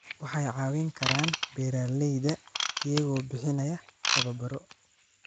waxay caawin karaan beeralayda iyagoo bixinaya tababaro